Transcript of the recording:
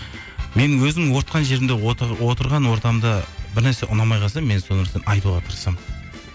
мен өзім отқан жерімде отырған ортамда бір нәрсе ұнамай қалса мен сол нәрсені айтуға тырысамын